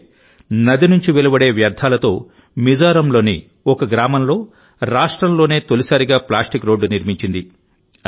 అంటే నది నుంచి వెలువడే వ్యర్థాలతో మిజోరాంలోని ఓ గ్రామంలో రాష్ట్రంలోనే తొలిసారిగా ప్లాస్టిక్ రోడ్డు నిర్మించింది